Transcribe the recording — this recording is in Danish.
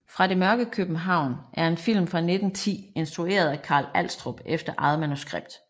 Fra det mørke København er en film fra 1910 instrueret af Carl Alstrup efter eget manuskript